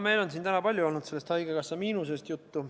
Meil on siin täna palju olnud sellest haigekassa miinusest juttu.